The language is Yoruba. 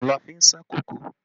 Oòrùn la fi ń sá kòkó